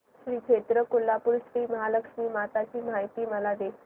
श्री क्षेत्र कोल्हापूर श्रीमहालक्ष्मी माता ची मला माहिती दे